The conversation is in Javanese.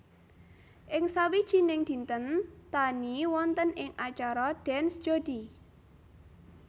Ing sawijining dinten Taani wonten ing acara Dance Jodi